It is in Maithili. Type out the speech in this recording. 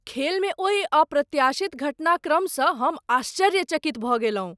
खेलमें ओहि अप्रत्याशित घटनाक्रम सँ हम आश्चर्यचकित भऽ गेलहुँ।